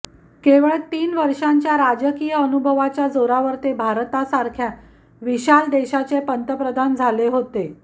केवळ तीन वर्षांच्या राजकीय अनुभवाच्या जोरावर ते भारतासारख्या विशाल देशाचे पंतप्रधान झाले होते